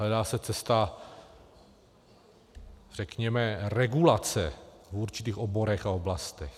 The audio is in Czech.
Hledá se cesta, řekněme, regulace v určitých oborech a oblastech.